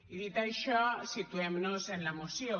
i dit això situem nos en la moció